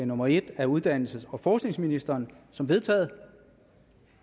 nummer en af uddannelses og forskningsministeren som vedtaget